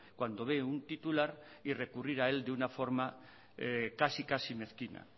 cuando ve un titular y recurrir a él de una forma casi casi mezquina